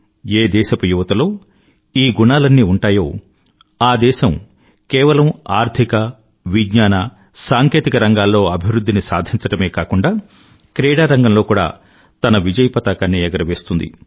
ఏ దేశపు యువతలో ఈ గుణాలన్నీ ఉంటాయో ఆ దేశం కేవలం ఆర్ధిక విజ్ఞాన సాంకేతిక రంగాల్లో అభివృధ్ధిని సాధించడమే కాకుండా క్రీడారంగంలో కూడా తన విజయపతాకాన్ని ఎగురవేస్తుంది